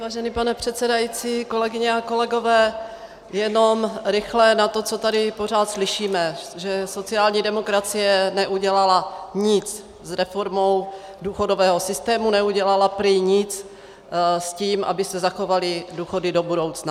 Vážený pane předsedající, kolegyně a kolegové, jenom rychle na to, co tady pořád slyšíme, že sociální demokracie neudělala nic s reformou důchodového systému, neudělala prý nic s tím, aby se zachovaly důchody do budoucna.